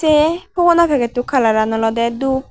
the fhogona packet u kalaran olode dhup.